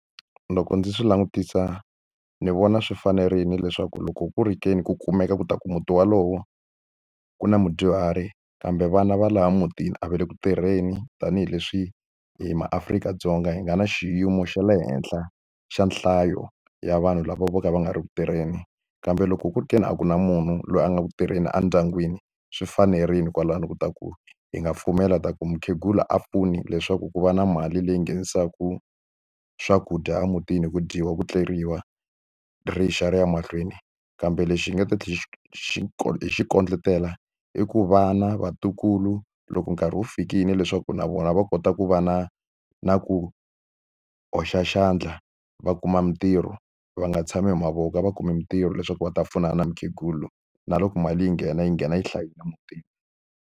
Loko ndzi swi langutisa ni vona swi fanerile leswaku loko ku ri ke ni ku kumeka ku ta ku muti wolowo ku na mudyuhari kambe vana va laha mutini a va le ku tirheni tanihileswi hi maAfrika-Dzonga hi nga na xiyimo xa le henhla xa nhlayo ya vanhu lava vo ka va nga ri ku tirheni kambe loko ku ri ke ni a ku na munhu loyi a nga ku tirheni a ndyangwini swi fanerile kwalano ku ta ku hi nga pfumela ta ku mukhegula a pfuni leswaku ku va na mali leyi nghenisaka swakudya emutini hi ku dyiwa ku tleriwa rixakara ya mahlweni kambe lexi hi nga ta xi xi xi xi kondletela i ku vana vatukulu loko nkarhi wu fikile leswaku na vona va va kota ku va na na ku hoxa xandla va kuma mitirho va nga tshami hi mavoko a va kumi mitirho leswaku va ta pfunana na mukhegula na loko mali yi nghena yi nghena yi hlayile emutini.